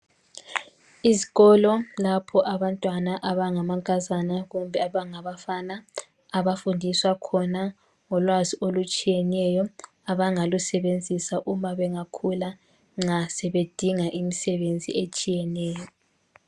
Izikolo lapho abantwana abangamankazana kumbe abangabafana abafundiswa khona ngolwazi olutshiyeneyo abangalusebenzisa uma bengakhula nxa sebedinga imisebenzi etshiyeneyo.